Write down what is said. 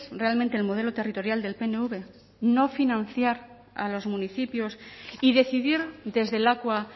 realmente el modelo territorial del pnv no financiar a los municipios y decidir desde lakua